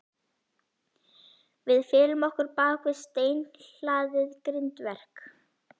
Við felum okkur bak við steinhlaðið grindverk.